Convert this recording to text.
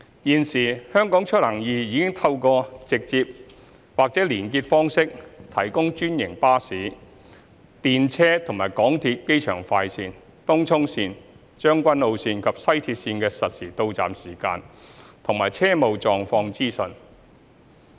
現時"香港出行易"已透過直接或連結方式提供專營巴士、電車及港鐵機場快綫、東涌綫、將軍澳綫及西鐵綫的實時到站時間及車務狀況資訊。